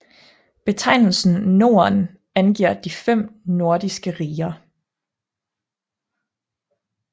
Betegnelsen Norden angiver de fem nordiske riger